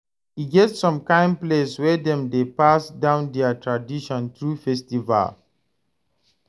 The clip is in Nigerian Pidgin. E get som kain place wey dem dey pass down dia tradition thru festival